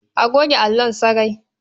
A goge allon sarai.